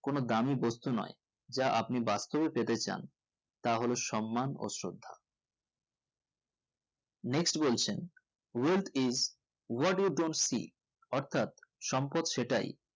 কোনো দামি বস্তু নোই যা আপনি বাস্তবে পেতে চান তা হল সম্মান ও শ্রদ্ধা next বলছেন wealth is what do you dont speech অর্থাৎ সম্পদ সেটাই